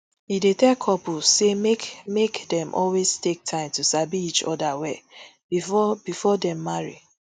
e dey tell couples say make make dem always take time to sabi each oda well bifor bifor dem marry